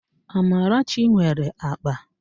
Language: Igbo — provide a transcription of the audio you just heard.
Amarachi nwere akpa